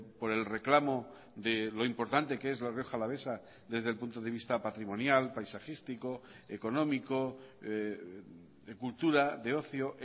por el reclamo de lo importante que es la rioja alavesa desde el punto de vista patrimonial paisajístico económico de cultura de ocio